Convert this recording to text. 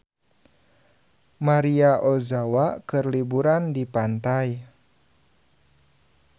Maria Ozawa keur liburan di pantai